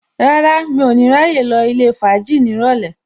Rárá, mi ò ní ráyè lọ ilé fàájì ní ìrọ̀lẹ́